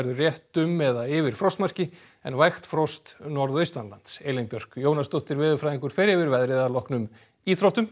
rétt um eða yfir frostmarki en vægt frost norðaustanlands Elín Björk Jónasdóttir veðurfræðingur fer yfir veðrið að loknum íþróttum